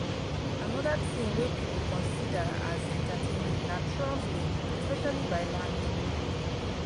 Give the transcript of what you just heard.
another thing wey people consider as entertaining na traveling especially by land.